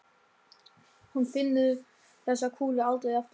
Hún finnur þessa kúlu aldrei aftur.